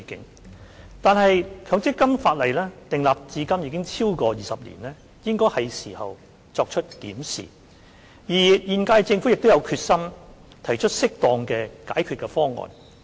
然而，強積金法例訂立至今已超過20年，應該是時候作出檢視，而現屆政府亦有決心提出適當的解決方案。